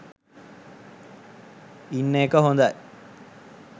ඉන්න එක හොදයි